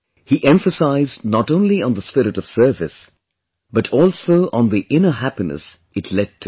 He emphasized not only on the spirit of service, but also on the inner happiness it led to